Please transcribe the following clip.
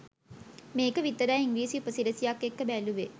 මේක විතරයි ඉංග්‍රීසි උපසිරැසියක් එක්ක බැලුවේ.